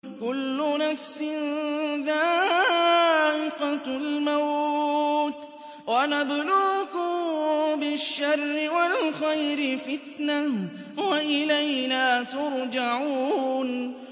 كُلُّ نَفْسٍ ذَائِقَةُ الْمَوْتِ ۗ وَنَبْلُوكُم بِالشَّرِّ وَالْخَيْرِ فِتْنَةً ۖ وَإِلَيْنَا تُرْجَعُونَ